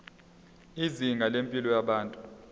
izinga lempilo yabantu